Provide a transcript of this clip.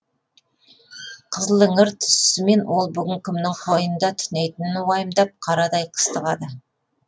қызыліңір түсісімен ол бүгін кімнің қойынында түнейтінін уайымдап қарадай қыстығады